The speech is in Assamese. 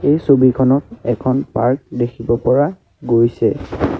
এই ছবিখনত এখন পাৰ্ক দেখিব পৰা গৈছে।